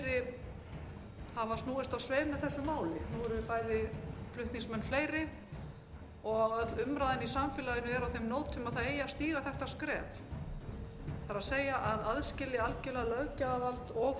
máli nú eru bæði flutningsmenn fleiri og öll umræðan í samfélaginu er á þeim nótum að það eigi að stíga þetta skref það er að aðskilja algerlega löggjafarvald og